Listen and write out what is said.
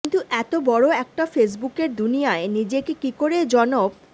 কিন্তু এত বড় একটা ফেসবুকের দুনিয়ায় নিজেকে কী করে জনপ